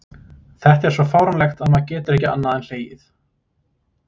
Ég hef aldrei talað um þetta áður og tilhugsunin ein, í ná